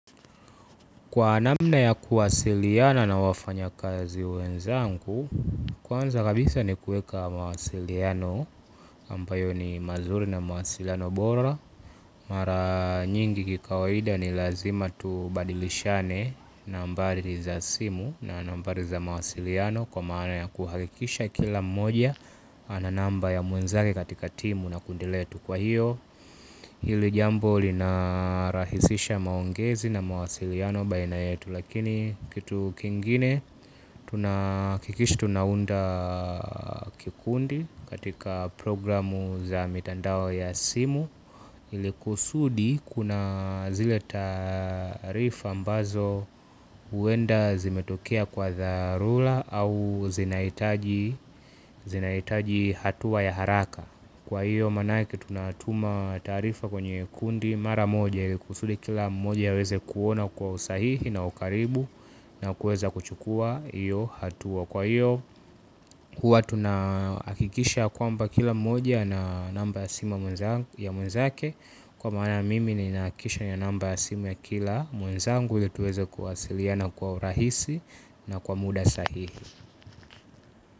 Kwa namna ya kuwasiliana na wafanya kazi wenzanku, kwanza kabisa ni kueka mawasiliano ambayo ni mazuri na mawasiliano bora. Mara nyingi kikawaida ni lazima tubadilishane nambari za simu na nambari za mawasiliano kwa maana ya kuhakikisha kila mmoja ananamba ya mwenzake katika timu na kundi letu kwa hiyo. Hili jambo linarahisisha maongezi na mawasiliano baina yetu lakini kitu kingine kikish tunaunda kikundi katika programu za mitandao ya simu. Hili kusudi kuna zile taarifa ambazo uenda zimetokea kwa dharula au zinaitaji hatua ya haraka. Kwa hiyo manake tunatuma taarifa kwenye kundi mara moja ili kusudi kila mmoja aweze kuona kwa usahihi na ukaribu na kueza kuchukua iyo hatua. Kwa hiyo huwa tunaakikisha kwamba kila mmoja ana namba ya simu ya mwenzake. Kwa maana mimi ninaakisha nina namba ya simu ya kila mwenzangu ili tuweze kuwasiliana kwa urahisi na kwa muda sahihi.